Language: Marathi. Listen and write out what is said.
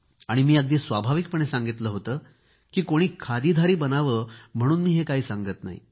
मी अगदी स्वाभाविकपणे सांगितले होते की कोणी खादीधारी बनावे म्हणून मी काही हे सांगत नाही